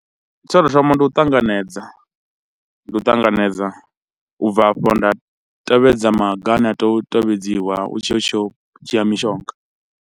Tsho tou thoma ndi u ṱanganedza, ndi u ṱanganedza u bva hafho, nda tevhedza maga ane a tea u tevhedziwa u tshiya u tshi yo u dzhia mishonga.